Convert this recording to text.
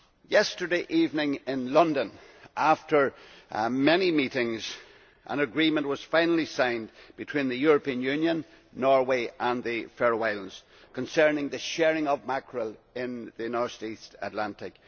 Yesterday evening in London, after many meetings, an agreement was finally signed between the European Union, Norway and the Faroe Islands concerning the sharing of mackerel in the Northeast Atlantic.